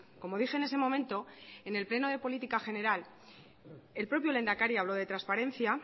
como dije en ese momento en el pleno de política general el propio lehendakari habló de transparencia